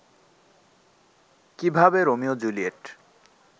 কীভাবে রোমিও-জুলিয়েট